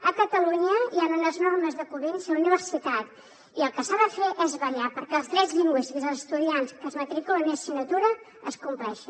a catalunya hi ha unes normes de convivència a la universitat i el que s’ha de fer és vetllar perquè els drets lingüístics dels estudiants que es matriculen a una assignatura es compleixin